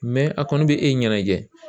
a kɔni bɛ e ɲɛnajɛ